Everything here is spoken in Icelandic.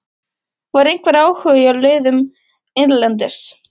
Var einhver áhugi hjá liðum erlendis?